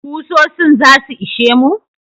Kusosin zasu ishe mu?